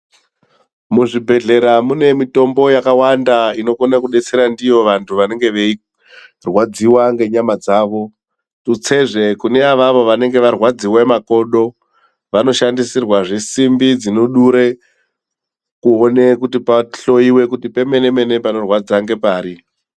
Muzvibhedhlera mune mitombo yakawanda inokona kudetsera ndiyo vantu vanenge veirwadziwa ngenyama dzavo. Tutsezve kune avavo vanenge varwadziwe makodo vanoshandisirwezve simbi dzinodure kuone kuti pahloyiwe kuti pamenemene panorwadza ngepari.